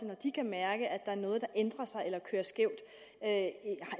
når de kan mærke at der er noget der ændrer sig eller kører skævt